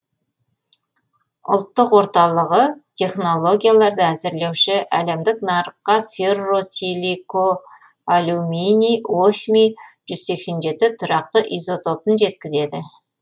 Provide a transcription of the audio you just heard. ұлттық орталығы технологияларды әзірлеуші әлемдік нарыққа ферросиликоалюминий осмий жүз сексен жетінші тұрақты изотопын жеткізеді